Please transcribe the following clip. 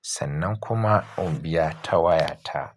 sannan kuma in biya ta waya ta.